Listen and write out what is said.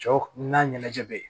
Cɛw n'a ɲɛnajɛ be yen